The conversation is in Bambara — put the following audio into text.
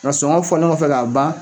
Nka sɔngɔ fɔlen kɔ fɛ k'a ban.